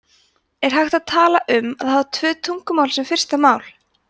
er hægt að tala um að hafa tvö tungumál sem fyrsta mál